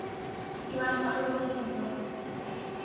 Ég var ekki alveg viss um það.